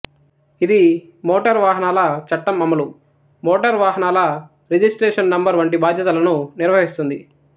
ఇది మోటర్ వాహనాల చట్టం అమలు మోటర్ వాహనాల రిజిస్ట్రేషన్ నంబర్ వంటి బాధ్యతలను నిర్వహిస్తుంది